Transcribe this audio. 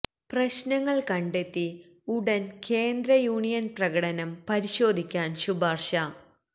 പ്രശ്നങ്ങൾ കണ്ടെത്തി ഉടൻ കേന്ദ്ര യൂണിയൻ പ്രകടനം പരിശോധിക്കാൻ ശുപാർശ